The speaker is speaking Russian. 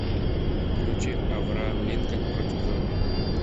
включи авраам линкольн против зомби